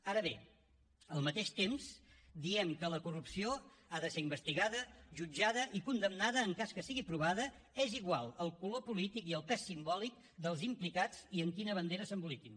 ara bé al mateix temps diem que la corrupció ha de ser investigada jutjada i condemnada en cas que sigui provada és igual el color polític i el pes simbòlic dels implicats i amb quina bandera s’emboliquin